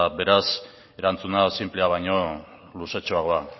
beraz erantzuna sinplea baino luzetxoagoa